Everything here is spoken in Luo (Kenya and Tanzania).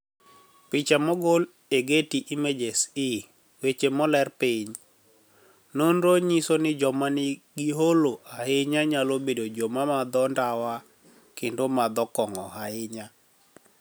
Picha mogol e Getty Images E weche moler piniy, noniro niyiso nii joma niigi holo ahiniya niyalo bedo joma madho nidawa kenido madho konig'o ahiniya.